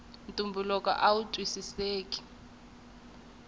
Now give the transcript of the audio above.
ntumbuluko awu twisiseki